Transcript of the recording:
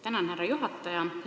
Tänan, härra juhataja!